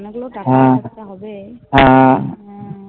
অনেকগুলো টাকা জোগাড় করতে হবে হ্যা